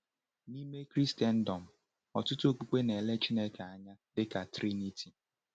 N’ime Kraịstndọm, ọtụtụ okpukpe na-ele Chineke anya dịka Triniti.